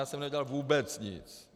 Já jsem neudělal vůbec nic.